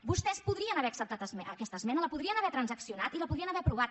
vos·tès podrien haver acceptat aquesta esmena la podrien haver transaccionat i la podrien haver aprovat